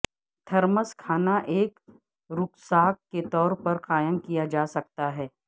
thermos کھانا ایک rucksack کے طور پر قائم کیا جا سکتا ہے